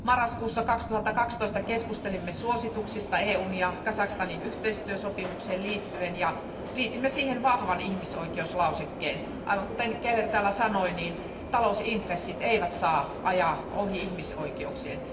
Marraskuussa 2012 keskustelimme suosituksista EUn ja Kazakstanin yhteistyösopimukseen liittyen, ja liitimme siihen vahvan ihmisoikeuslausekkeen. Aivan kuten Franziska Keller täällä sanoi, niin talousintressit eivät saa ajaa ohi ihmisoikeuksien.